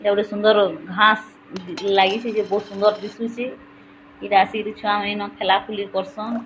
ଏଇଟା ଗୋଟେ ସୁନ୍ଦର ଘାସ୍ ଦି ଲାଗିଛି। ଯେ ବହୁତ୍ ସୁନ୍ଦର ଦିଶୁଛି ଏଠି ଆସିକିରି ଛୁଆମାନିନ ଖେଲାଖୁଲି କରଛନ୍।